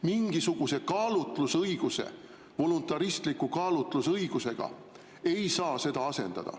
Mingisuguse kaalutlusõigusega, voluntaristliku kaalutlusõigusega ei saa seda asendada.